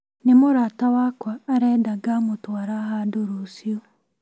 Nĩ mũrata wakwa arenda ngamũtwara handũ rũciũ